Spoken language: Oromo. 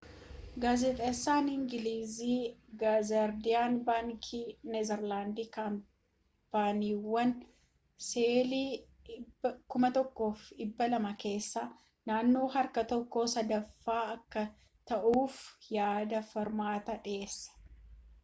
gaazexaan ingilizii ze gaardiyaan bankiin neezarlaandi kaampaniiwwan sheelii 1200 keessaa naannoo harka tokko sadaaffaa akka to'atuuf yaada furmaataa dhiyeesse